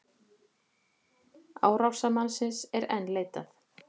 Árásarmannsins er enn leitað